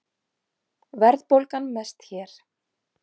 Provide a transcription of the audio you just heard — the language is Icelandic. Verðbólgan mest hér